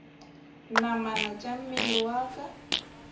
namana tša mmele wa ka